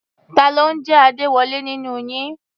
Ta ló ń jẹ́ Adéwọlé nínú yín?